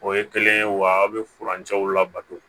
O ye kelen ye wa aw bɛ furancɛw labato